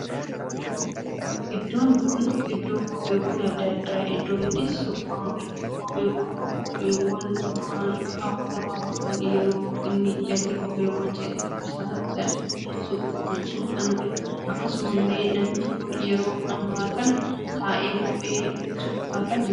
Iddoon kun iddoo kophewwan addaa addaa iddoo itti suphamuudha. kophwwwan kun kopheewwan duraan kaawwatamaa ture yeroo inni jalli kophewwan citu itti suphanidha. akkasumallee namichi kun yeroo ammaa kana taa'ee kophee suphaa kan jiruudha.